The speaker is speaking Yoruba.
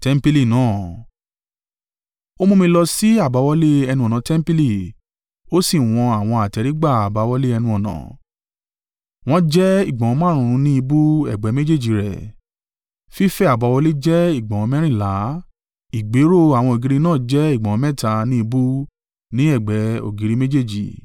Ó mú mi lọ sí àbáwọlé ẹnu-ọ̀nà tẹmpili, ó sì wọn àwọn àtẹ́rígbà àbáwọlé ẹnu-ọ̀nà; wọ́n jẹ́ ìgbọ̀nwọ́ márùn-ún ní ìbú, ẹ̀gbẹ́ méjèèjì rẹ̀. Fífẹ̀ àbáwọlé jẹ́ ìgbọ̀nwọ́ mẹ́rìnlá, ìgbéró àwọn ògiri náà jẹ́ ìgbọ̀nwọ́ mẹ́ta ní ìbú ní ẹ̀gbẹ́ ògiri méjèèjì.